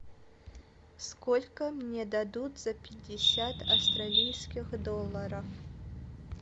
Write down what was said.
сколько мне дадут за пятьдесят австралийских долларов